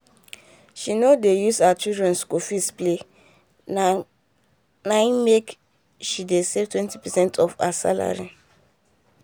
she nor dey use her children school fees play, na na im make she dey save twenty percent of her salary.